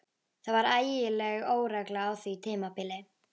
Það var ægileg óregla á því tímabili.